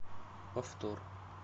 повтор